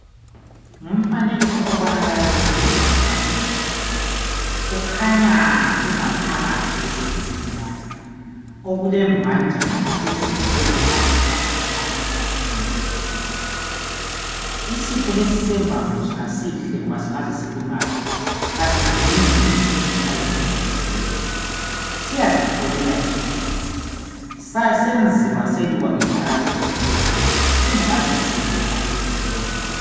ngumfanekiso obanakala kumbukezwa mfanekiso ukhanya ingaphakathi yesifubeni lapha okulembanjana ezibekwe zalandelana ngobunono obukhulu isitho lesi esembambo sona sihle ngoba singaze silimale asidingi ukuthi umuntu aze ayevalelwa esibhedlela siyazipholela sodwa senziwa selukwa ngenhlakanipho enkulu singuazisilela sodwa